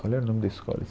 Qual era o nome da escola?